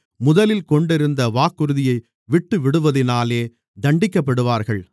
முதலில் கொண்டிருந்த வாக்குறுதியை விட்டுவிடுவதினாலே தண்டிக்கப்படுவார்கள்